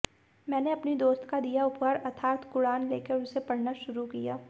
मैंने अपनी दोस्त का दिया उपहार अर्थात क़ुरआन लेकर उसे पढ़ना शुरू किया